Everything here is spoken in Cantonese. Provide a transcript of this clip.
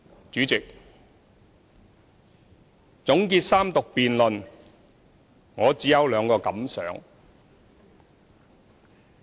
主席，總結三讀辯論，我只有兩個感想。